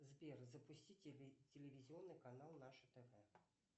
сбер запусти телевизионный канал наше тв